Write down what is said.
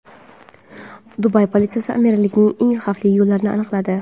Dubay politsiyasi amirlikning eng xavfli yo‘llarini aniqladi.